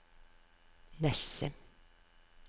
Nesset